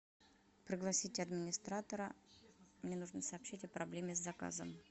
пригласите администратора мне нужно сообщить о проблеме с заказом